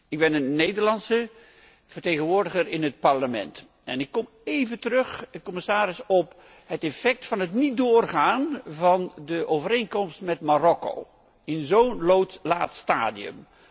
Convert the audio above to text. Ik ben een Nederlandse vertegenwoordiger in het Parlement en ik kom even terug op de gevolgen van het niet doorgaan van de overeenkomst met Marokko in zo'n laat stadium.